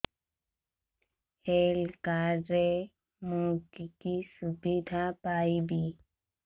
health card ରେ ମୁଁ କି କି ସୁବିଧା ପାଇବି